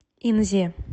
инзе